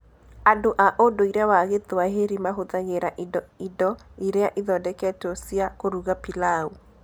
Andũ a ũndũire wa Gĩthwaĩri mahũthagĩra indo indo iria ithondeketwo cia kũruga pilau.